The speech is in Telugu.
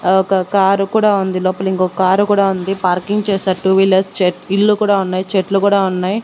ఆ ఒక కారు కూడా ఉంది లోపల ఇంకో కారు కూడా ఉంది పార్కింగ్ చేశారు టు వీలర్స్ చెట్ ఇల్లు కూడా ఉన్నాయ్ చెట్లు కూడా ఉన్నాయ్.